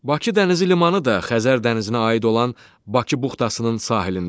Bakı dənizi limanı da Xəzər dənizinə aid olan Bakı buxtasının sahilindədir.